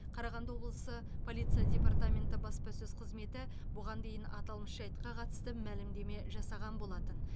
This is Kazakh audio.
қарағанды облысы полиция департаменті баспасөз қызметі бұған дейін аталмыш жайтқа қатысты мәлімдеме жасаған болатын